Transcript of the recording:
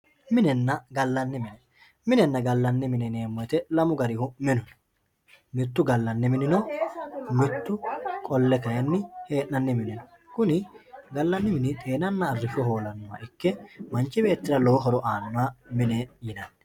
minenna gallanni mine minenna gallanni mine yineemmo woyiite lamu garihu minu no mittu gallanni mini no mittu kayni hee'nanni mini no kuni gallanni mini xeenanna arrishsho hoolannoha ikke manchi beettira lowo horo aannoho mine yinanni.